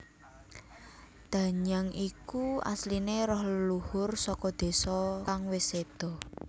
Danyang iku asline roh leluhur saka désa kang wis sedo